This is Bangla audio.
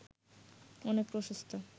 অনেক প্রশস্তা